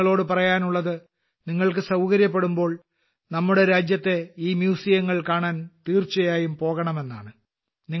എനിയ്ക്ക് നിങ്ങളോട് പറയാനുള്ളത് നിങ്ങൾക്ക് സൌകര്യപ്പെടുമ്പോൾ നമ്മുടെ രാജ്യത്തെ ഈ മ്യൂസിയങ്ങൾ കാണാൻ തീർച്ചയായും പോകണമെന്നാണ്